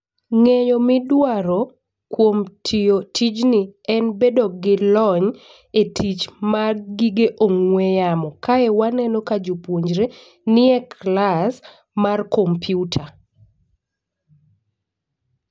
Ng'eyo midwaro kuom tiyo tijni en bedo gi lony e tich mag gige ong'we yamo. Kae waneno ka jopuonjre nie klas mar komputa.